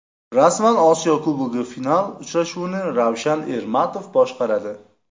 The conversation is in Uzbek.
Rasman: Osiyo Kubogi final uchrashuvini Ravshan Ermatov boshqaradi.